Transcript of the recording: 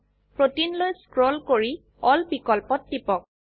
protein লৈ scroll কৰি এল বিকল্পত টিপক